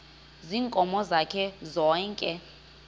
ziinkomo zakhe zonke